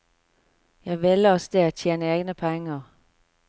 Jeg ville av sted, tjene egne penger.